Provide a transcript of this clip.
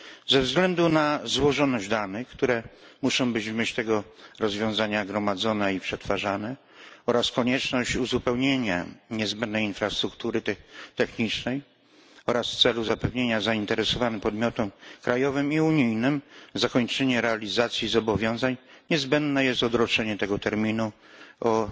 Ze względu na złożoność danych, które w myśl tego rozwiązania muszą być gromadzone i przetwarzane, oraz konieczność uzupełnienia niezbędnej infrastruktury technicznej, jak również w celu zapewnienia zainteresowanym podmiotom krajowym i unijnym zakończenia realizacji zobowiązań, niezbędne jest odroczenie tego terminu o